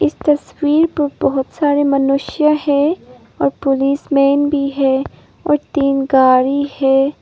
इस तस्वीर पर बहुत सारे मनुष्य है और पुलिसमैन भी है और तीन गाड़ी है।